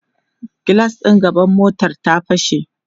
gilas ɗin gaban motar ta fashe